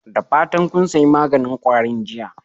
Da fatan kun sayi maganin kwarin jiya?